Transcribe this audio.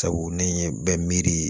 Sabu ne ye bɛ miiri